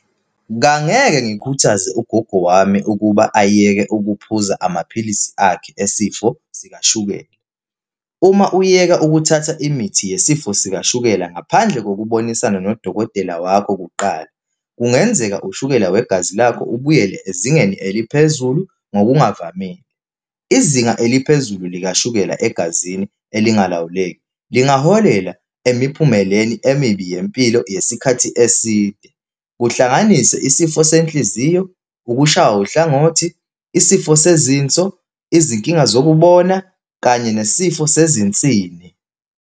Kangeke ngikhuthaze ugogo wami ukuba ayeke ukuphuza amaphilisi akhe esifo sikashukela. Uma uyeka ukuthatha imithi yesifo sikashukela ngaphandle kokubonisana nodokotela wakho kuqala, kungenzeka ushukela wegazi lakho ubuyele ezingeni eliphezulu ngokungavamile. Izinga eliphezulu likashukela egazini elingalawuleki lingaholela emiphumeleni emibi yempilo yesikhathi eside, kuhlanganise isifo senhliziyo, ukushawa uhlangothi, isifo sezinso, izinkinga zokubona kanye nesifo sezinsini.